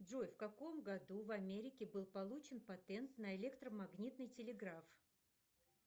джой в каком году в америке был получен патент на электромагнитный телеграф